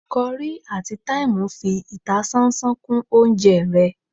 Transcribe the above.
curry atí thyme fi ìtásánsán kún oúnjẹ ré